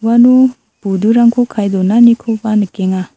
uano budurangko kae donanikoba nikenga.